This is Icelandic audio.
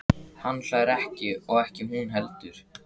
Hann hlær ekki og ekki hún heldur.